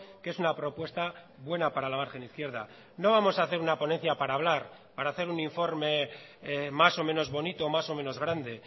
que es una propuesta buena para la margen izquierda no vamos a hacer una ponencia para hablar para hacer un informe más o menos bonito más o menos grande